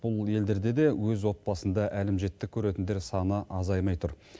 бұл елдерде де өз отбасында әлімжеттік көретіндер саны азаймай тұр